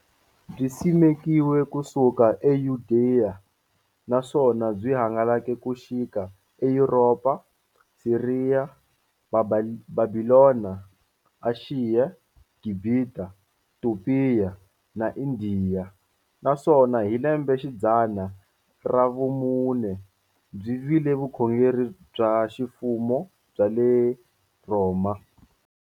Byi simekiwe ku suka e Yudeya, naswona byi hangalake ku xika eYuropa, Siriya, Bhabhilona, Ashiya, Gibhita, Topiya na Indiya, naswona hi lembexidzana ra vumune byi vile vukhongeri bya ximfumo bya le Rhoma.